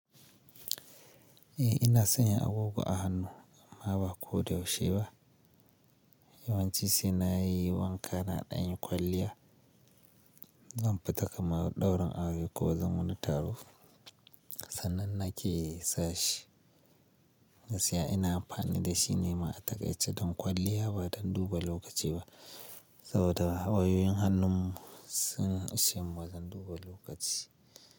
Eh ina sanya agogo a hannu amma ba ko da yaushe ba. Yawanci sai na yi wanka na ɗan yi kwalliya. Zan fita kamar ɗaurin aure ko zan wani taro sannan na ke sa shi. Gaskiya ina amfani da shi ne ma'adadace don kwalliya ba don duba lokaci ba saboda wayoyin hannun sun ishe mu don duba lokaci.